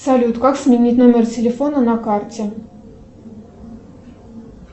салют как сменить номер телефона на карте